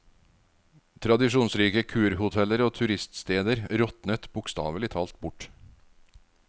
Tradisjonsrike kurhoteller og turiststeder råtnet bokstavelig talt bort.